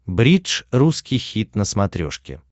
бридж русский хит на смотрешке